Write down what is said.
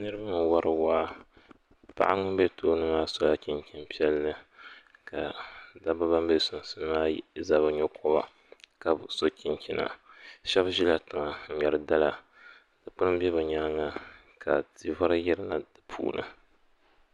Niraba n wɔri waa. Paɣa ŋun be tooni maa sola chinchini pielli ka dabba ban be sunsuni maa za bɛ nyokoba. ka bi so chinchina. Sheba ʒɛla tiŋa n nyeri dala. Dikpuni be bi nyaanŋa ka tivari yirina di puuni.